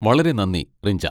വളരെ നന്ദി, റിഞ്ച.